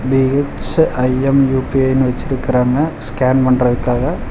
BHIM UPI னு வச்சிருக்கிறாங்க scan பண்றதுக்காக.